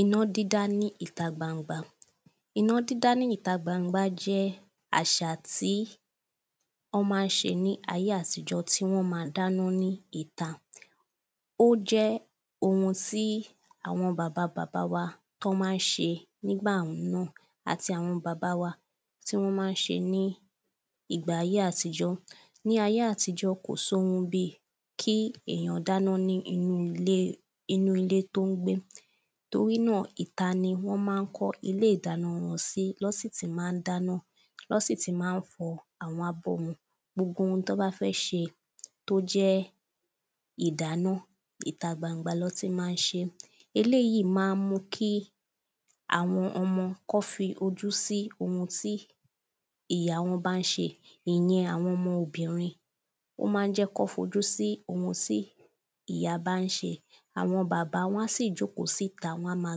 iná dídá ní ìtagbangba iná dídá ní ìtagbangba jẹ́ àṣà tí wọ́n ma ń ṣe ní ayé àtíjọ tí wọ́n ma dáná ní ìta ó jẹ́ ohun tí àwọn bàba bàba bàba wa tọ́ ma ń ṣe àti àwọn bàba wa tí wọ́n ma ń ṣe ní ìgbà ayé àtijọ́ ní ayé àtijọ́ kò sóhun bi kí èyàn dáná ní inú ilé ní inú ilé tó ń gbé torí nà ìta ni wọ́n má ń kọ́ ilé ìdáná sí lọ́ sì ti má ń dáná lọ́ sì ti má ń fọ àwọn abọ́ wọn gbogbo ohun tó bá fẹ ṣe tó jẹ́ ìdáná ìta gbangba lọ́ tí má ń ṣe eléyí má ń mú kí àwọn ọmọ kọ́ fi ojú sí ohun tí ìya wọ́n bá ń ṣe ìyẹn àwọn ọmọ obìnrin ó má ń jẹ́ kọ́ fi ojú sí ohun tí ìyá bá ń ṣe àwọn bàbá wọ́n á sì jókòó síta wọ́n ma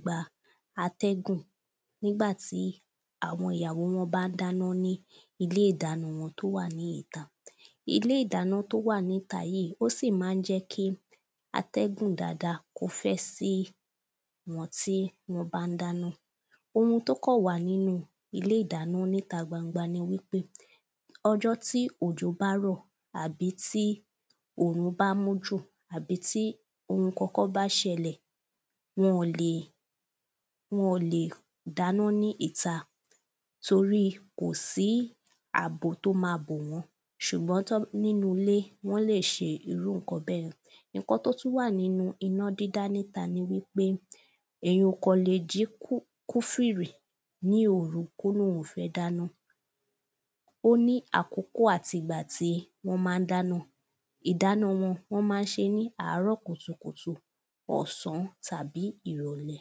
gba atẹ́gùn nígbà tí àwọn ìyàwó wọ́n bá ń dáná ní ilé ìdáná wọn tó wà ní ìta ilé ìdáná tó wà ní ìta yìí ó sì má ń jẹ́ kí atẹ́gùn dada kó fẹ́ sí wọn tí wọ́n bá ń dáná ohun tó kọ̀ wà nínu ilé ìdáná ní ìta gbangba ni wí pé ọjọ́ tí òjò bá rọ̀ àbi tí òrùn bá mú jù àbi tí ohun kọkọ́ bá ṣẹlẹ̀ wọn lè wọn lè ìdáná ní ìta toríi kò sí àbò tó ma bò wọn ṣùgbọn nínu ilé wọ́n lè ṣe irú ǹkan bẹ́ẹ̀ ǹkan tó tú wà nínu iná dídá ní ìta ni wí pé èyàn ò kọ̀ lè jí kúfìrì ní òru kó lòun fẹ́ dáná ó ní àkókò àti ìgba tí wọ́n má ń dáná ìdáná wọn wọ́n má ń ṣé ní àárọ̀ kùtùkùtù ọ̀sán tàbí ìrọ̀lẹ́